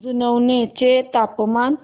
जुनवणे चे तापमान